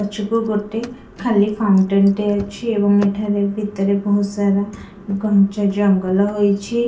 ପଛକୁ ଗୋଟେ ଖାଲି ଫାଉଣ୍ଟେନ ଟେ ଅଛି ଏବଂ ଏଠାରେ ଭିତରେ ବହୁତ ସାରା ଘଞ୍ଚ ଜଙ୍ଗଲ ହୋଇଛି ।